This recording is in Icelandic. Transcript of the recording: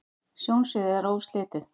sjónsviðið er óslitið